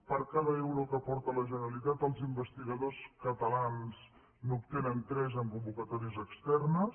per cada euro que aporta la generalitat els investigadors catalans n’obtenen tres en convocatòries externes